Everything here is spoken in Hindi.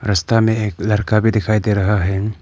रस्ता में एक लड़का भी दिखाई दे रहा है।